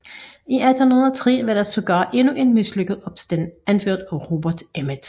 I 1803 var der sågar endnu en mislykket opstand anført af Robert Emmet